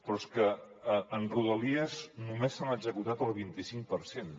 però és que en rodalies només se n’han executat el vint i cinc per cent